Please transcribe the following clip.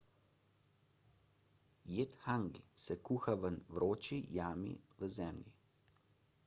jed hangi se kuha v vroči jami v zemlji